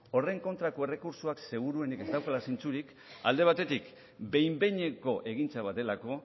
horren kontrako errekurtsoak seguruenik ez daukala zentzurik alde batetik behin behineko egintza bat delako